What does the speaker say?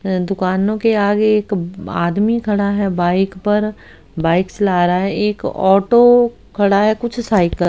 दुकानों के आगे एक आदमी खड़ा है बाइक पर बाइक चला रहा है। एक ऑटो खड़ा है कुछ साइकल का--